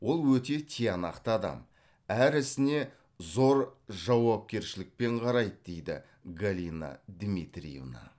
ол өте тиянақты адам әр ісіне зор жауапкершілікпен қарайды дейді галина дмитриевна